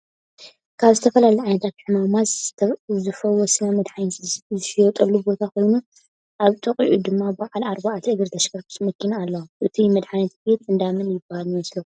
ካብ ዝተፈላለዩ ዓይነታት ሕማመት ዝፍውስና ምድሓኒታት ዝሽጠሉ ቦታ ኮይኑ ኣብ ጥቅኡ ድማ ብዓል ኣርባዕተ እግሪ ተሽከርካርቲ መኪና ኣለዎ። እቱይ መድሓኒት ቤት እንዳመን ይብሃል ይመሰለኩም?